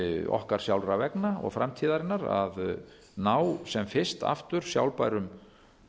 okkar sjálfra vegna og framtíðarinnar að ná sem fyrst aftur sjálfbærum